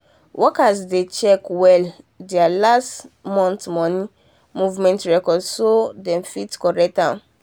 workers dey check well there last month money movement records so that them fit correct am.